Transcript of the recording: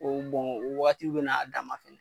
K'o bɔn o wagatiw bɛna a dan ma fɛnɛ